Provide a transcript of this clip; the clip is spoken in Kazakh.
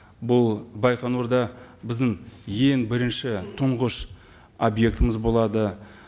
бұл байқоңырда біздің ең бірінші тұңғыш объектіміз болады